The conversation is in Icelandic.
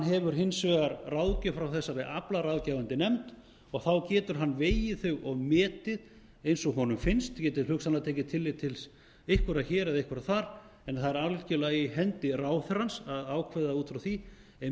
hefur hins vegar ráðgjöf frá þessari aflaráðgefandi nefnd og þá getur hann vegið þau og metið eins og honum finnst hann getur hugsanlega tekið tillit til einhverra hér eða einhverra þar en það er algjörlega í hendi ráðherrans að ákveða út frá því